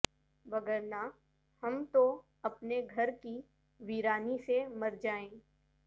وگرنہ ہم تو اپنے گھر کی ویرانی سے مرجائیں